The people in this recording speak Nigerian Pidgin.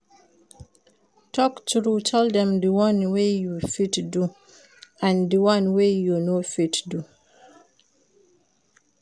Talk true tell dem di won wey you fit do and di one wey you no fit do